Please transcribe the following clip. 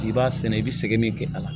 K'i b'a sɛnɛ i bɛ sɛgɛnni kɛ a la